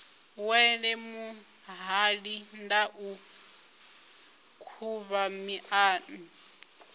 wele muhali ndau khuvha miṱana